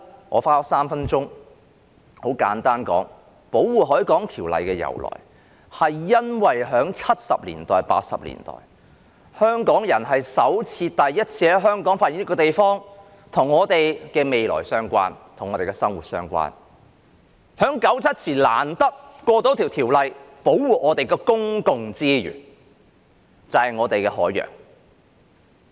我花了3分鐘簡單講述《條例》的由來，就是由於在1970年代、1980年代，香港人首次在香港發現了一個地方，是與我們的未來相關、和我們的生活息息相關，然後便在1997年前難得地通過了《條例》，以保護我們的公共資源，就是我們的海洋。